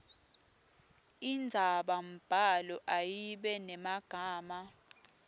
indzabambhalo ayibe nemagama